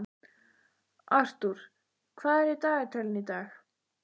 Arthur, hvað er í dagatalinu í dag?